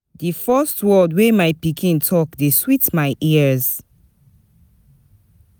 Di first word wey my pikin talk dey sweet my ears.